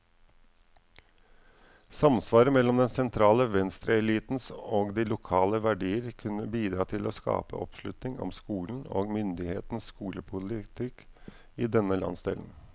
Samsvaret mellom den sentrale venstreelitens og de lokale verdier kunne bidra til å skape oppslutning om skolen, og myndighetenes skolepolitikk i denne landsdelen.